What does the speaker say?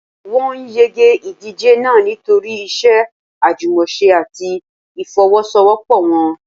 Wọ́n yege ìdíje náà nítorí iṣẹ́ àjùmọ̀ṣe àti ìfọ́wọ́sọwọ́pọ̀ wọn.